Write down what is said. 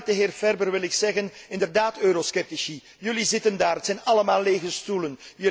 Samen met de heer Ferber wil ik zeggen inderdaad, eurosceptici, jullie zitten daar, het zijn allemaal lege stoelen.